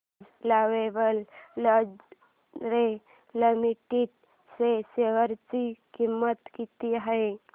आज lovable lingerie limited च्या share ची किंमत किती आहे